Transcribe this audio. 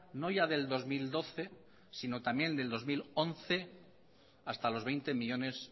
no ya del dos mil doce sino también del dos mil once hasta los veinte millónes